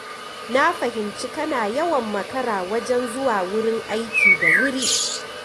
Na fahimci kana yawan makara wajen zuwa wurin aiki da wuri.